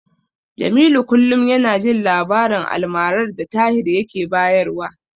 Jamilu kullum yana jin labarin almarar da Tahir yake bayarwa.